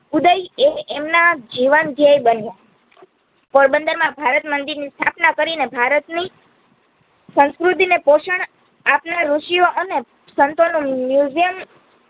ઉદઈ એ એમના જીવન બન્યા. પોરબંદરમાં ભારતમંદિરની સ્થાપના કરીને ભારતની સંસ્કૃતિને પોષણ આપના ઋષિયો અને સંતોનું Museum